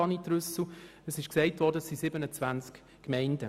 Schliesslich wurde gesagt, es handle sich um 27 Gemeinden.